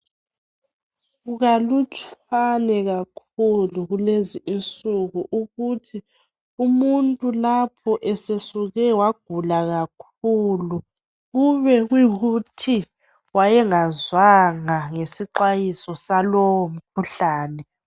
Kukalutshwane kakhulu kulezi insuku, ukuthi umuntu lapho esesuke wagula kakhulu, kube kuyikuthi wayengazwanga, ngesixwayiso salowomkhuhlane.